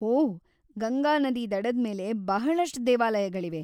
ಓಹ್‌, ಗಂಗಾನದಿ ದಡದ್‌ ಮೇಲೆ ಬಹಳಷ್ಟ್‌ ದೇವಾಲಯಗಳಿವೆ.